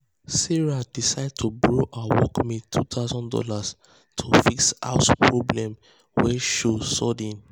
sarah decide to borrow her workmate two thousand dollars to fix house problem wey show sudden